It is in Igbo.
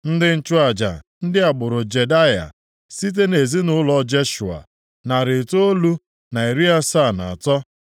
Ndị nchụaja: ndị agbụrụ Jedaya (site nʼezinaụlọ Jeshua), narị itoolu na iri asaa na atọ (973)